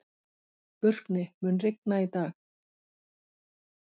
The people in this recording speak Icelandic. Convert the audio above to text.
Burkni, mun rigna í dag?